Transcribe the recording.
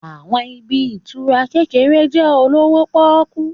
Àwọn ibi ìtura kékeré jẹ́ olówó pọ́kú